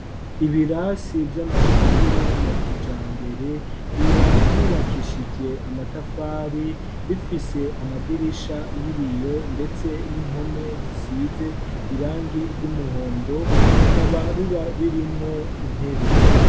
ibirasi y'amashure ya kijambere, biba vyubakishijwe amatafari, bifise amadirisha y'ibiyo, ndetse n'impome zisize irangi ry'umuhondo, bikaba biba birimwo intebe.